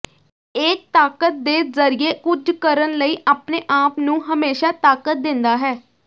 ਇਹ ਤਾਕਤ ਦੇ ਜ਼ਰੀਏ ਕੁਝ ਕਰਨ ਲਈ ਆਪਣੇ ਆਪ ਨੂੰ ਹਮੇਸ਼ਾਂ ਤਾਕਤ ਦਿੰਦਾ ਹੈ